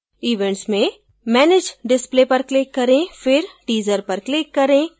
events में manage display पर click करें फिर teaser पर click करें